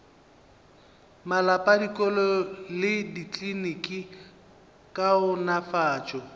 malapa dikolo le dikliniki kaonafatšo